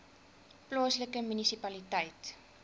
plaaslike munisipaliteit